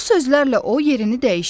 Bu sözlərlə o yerini dəyişdi.